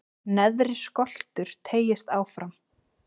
neðri skoltur teygist fram